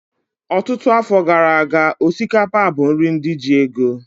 Ọtụtụ afọ gara aga, osikapa bụ nri ndị ji ego